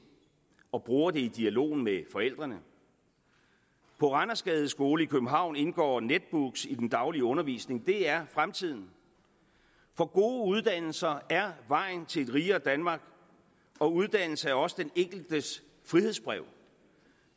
og bruger det i dialogen med forældrene på randersgades skole i københavn indgår netbooks i den daglige undervisning det er fremtiden for gode uddannelser er vejen til et rigere danmark og uddannelse er også den enkeltes frihedsbrev